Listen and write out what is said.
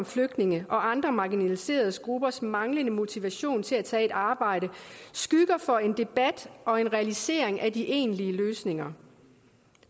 flygtninge og andre marginaliserede gruppers manglende motivation til at tage et arbejde skygger for en debat og en realisering af de egentlige løsninger